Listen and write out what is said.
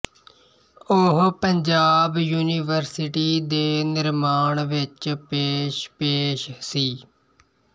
ਉਹ ਪੰਜਾਬ ਯੂਨੀਵਰਸਿਟੀ ਦੇ ਨਿਰਮਾਣ ਵਿਚ ਪੇਸ਼ ਪੇਸ਼ ਸੀ